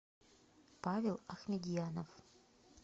павел ахмедьянов